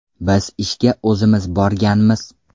Biz ishga o‘zimiz borganmiz.